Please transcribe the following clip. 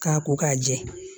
K'a ko k'a jɛ